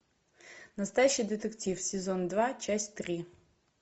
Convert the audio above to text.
настоящий детектив сезон два часть три